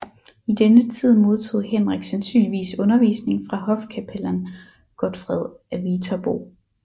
I denne tid modtog Henrik sandsynligvis undervisning fra hofkapellan Godfred af Viterbo